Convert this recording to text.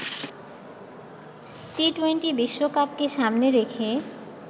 T twenty বিশ্বকাপকে সামনে রেখে